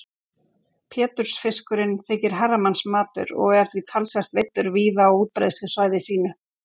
Pétursfiskurinn þykir herramannsmatur og er því talsvert veiddur víða á útbreiðslusvæði sínu.